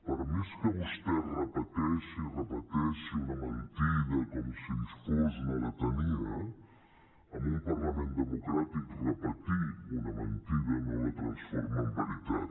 per més que vostè repeteixi i repeteixi una mentida com si fos una lletania en un parlament democràtic repetir una mentida no la transforma en veritat